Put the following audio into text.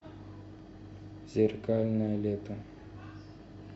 зеркальное лето